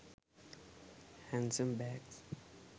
handsome bags